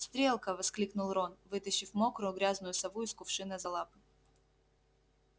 стрелка воскликнул рон вытащив мокрую грязную сову из кувшина за лапы